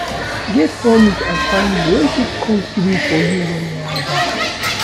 Get hommies and family wey fit come through for you when yawa gas